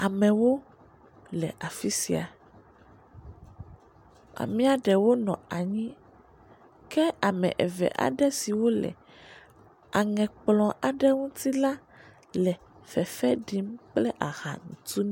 Amewo le afisia, amea ɖewo nɔ anyi ke ame eve aɖesiwo le, aŋɛ kplɔ̃ aɖewo ŋuti la le fefe ɖim kple aha ntun.